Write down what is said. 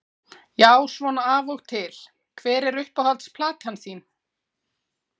Já svona af og til Hver er uppáhalds platan þín?